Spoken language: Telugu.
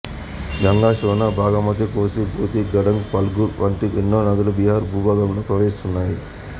గంగ శోణ బాగమతి కోసి బుధి గండక్ ఫల్గు వంటి ఎన్నో నదుల బీహారు భూభాగంలో ప్రవహిస్తున్నాయి